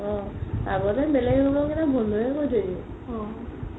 অ আগতে বেলেগ room ৰ কেইটা বন্ধোয়ে কৰি থই দিয়ে